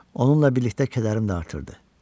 Onunla birlikdə kədərim də artırdı.